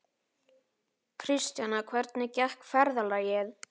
Kristjana, hvernig gekk ferðalagið?